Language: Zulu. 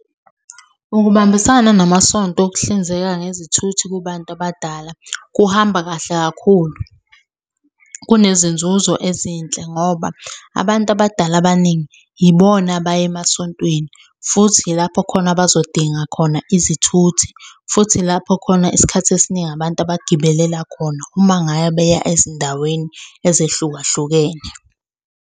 Ukubambisana namasonto ukuhlinzeka ngezithuthi kubantu abadala kuhamba kahle kakhulu. Kunezinzuzo ezinhle ngoba abantu abadala abaningi yibona abaya emasontweni, futhi ilapho khona abazodinga khona izithuthi, futhi ilapho khona isikhathi esiningi abantu abagibelela khona uma ngabe beya ezindaweni ezehlukahlukene.